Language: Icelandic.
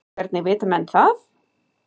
Hvernig vita menn það?